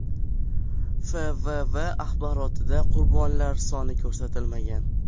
FVV axborotida qurbonlar soni ko‘rsatilmagan.